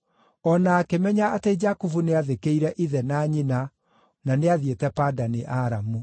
O na akĩmenya atĩ Jakubu nĩathĩkĩire ithe na nyina na nĩathiĩte Padani-Aramu.